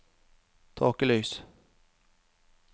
tåkelys